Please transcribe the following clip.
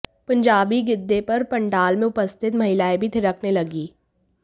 पंजाबी गिद्दे पर पंडाल में उपस्थित महिलाएं भी थिरकने लगीं